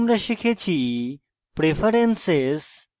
এখানে আমরা শিখেছি: